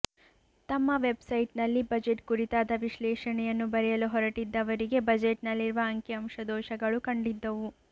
ತಮ್ಮ ವೆಬ್ಸೈಟ್ನಲ್ಲಿ ಬಜೆಟ್ ಕುರಿತಾದ ವಿಶ್ಲೇ಼ಷಣೆಯನ್ನು ಬರೆಯಲು ಹೊರಟಿದ್ದವರಿಗೆ ಬಜೆಟ್ನಲ್ಲಿರುವ ಅಂಕಿ ಅಂಶ ದೋಷಗಳು ಕಂಡಿದ್ದವು